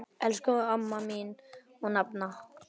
Elsku amma mín og nafna.